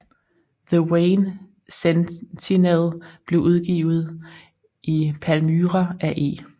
The Wayne Sentinel blev udgivet i Palmyra af E